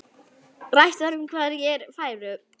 Rætt var um hverjir færu.